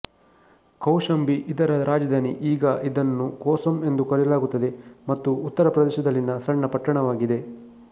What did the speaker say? ಕೌಶಾಂಬಿ ಇದರ ರಾಜಧಾನಿ ಈಗ ಇದನ್ನು ಕೋಸಮ್ ಎಂದು ಕರೆಯಲಾಗುತ್ತದೆ ಮತ್ತು ಉತ್ತರ ಪ್ರದೇಶದಲ್ಲಿನ ಸಣ್ಣ ಪಟ್ಟಣವಾಗಿದೆ